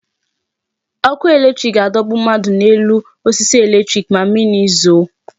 Ọkụ electric ga-adọgbu mmadụ n'elu osisi electric ma mmiri zoo.